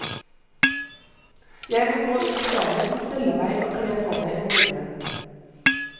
Jeg må gå ut på gangen og stelle meg og kle på meg om morgenen.